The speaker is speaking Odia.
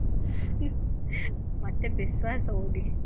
ମତେ ବିଶ୍ବାସ ହଉନି